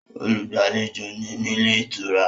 Olùgbàlejò ni nílé ìtura